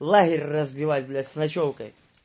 лагерь разбивать блять с ночёвкой